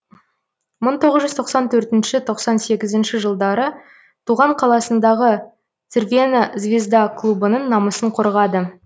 мың тоғыз жүз тоқсан төртінші тоқсан сегізінші жылдары туған қаласындағы црвена звезда клубының намысын қорғады